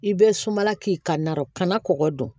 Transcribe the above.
I bɛ sumala k'i ka narɔ kana kɔgɔ don